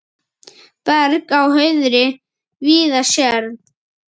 Berg á hauðri víða sérð.